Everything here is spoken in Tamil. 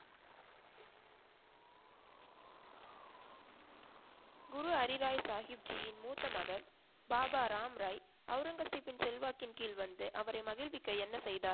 குரு ஹரி ராய் சாகிப் ஜி யின் மூத்த மகன் பாபா ராம் ராய் ஔரங்கசிபின் செல்வாக்கின் கீழ் வந்து அவரை மகிழ்விக்க என்ன செய்தார்? குரு